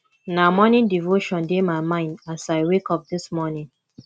na morning devotion dey my mind as i wake up dis morning